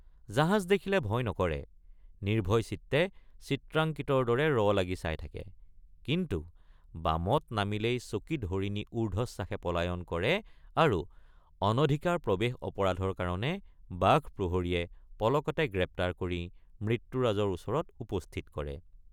জাহাজ দেখিলে ভয় নকৰে নিৰ্ভয়চিত্তে চিত্ৰাঙ্কিতৰ দৰে ৰ লাগি চাই থাকে কিন্তু বামত নামিলেই চকিত হৰিণী উৰ্ধশ্বাসে পলায়ন কৰে আৰু অনধিকাৰ প্ৰৱেশ অপৰাধৰ কাৰণে বাঘ প্ৰহৰীয়ে পলকতে গ্ৰেপ্তাৰ কৰি মৃত্যুৰাজৰ ওচৰত উপস্থিত কৰে।